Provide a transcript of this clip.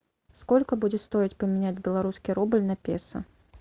сколько будет стоить поменять белорусский рубль на песо